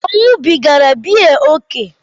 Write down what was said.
Ọ̀ ṅụrụbigara biya ókè?